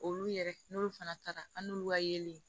Olu yɛrɛ n'olu fana taara an n'olu ka yelen